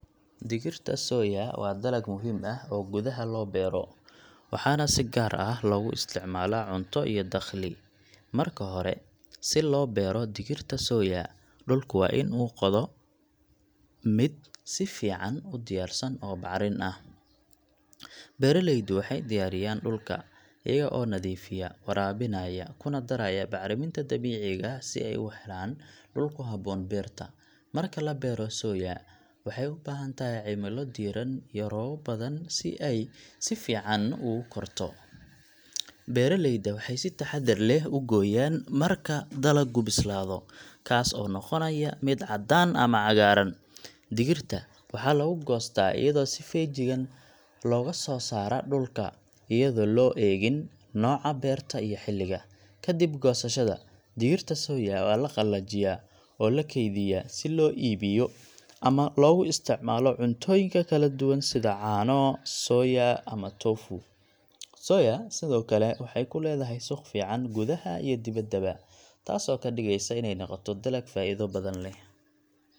Digirta soya waa dalag muhiim ah oo gudaha loo beero, waxaana si gaar ah loogu isticmaalaa cunto iyo dakhli. Marka hore, si loo beero digirta soya, dhulku waa in uu noqdo mid si fiican u diyaarsan oo bacrin ah. Beeraleydu waxay diyaariyaan dhulka, iyaga oo nadiifiya, waraabinaya, kuna daraya bacriminta dabiiciga ah si ay u helaan dhul ku habboon beerta. Marka la beero, soya waxay u baahan tahay cimilo diiran iyo roobab badan si ay si fiican ugu korto. Beeraleyda waxay si taxaddar leh u gooyaan marka dalagu bislaado, kaas oo noqonaya mid cadaan ama cagaaran. Digirta waxaa lagu goostaa iyadoo si feejigan looga soo saaro dhulka, iyadoo loo eegin nooca beerta iyo xilliga. Kadib goosashada, digirta soya waa la qalajiyaa oo la keydiyaa si loo iibiyo ama loogu isticmaalo cuntooyinka kala duwan sida caano soya ama tofu. Soya sidoo kale waxay ku leedahay suuq fiican gudaha iyo dibaddaba, taasoo ka dhigaysa inay noqoto dalag faa’iido badan leh.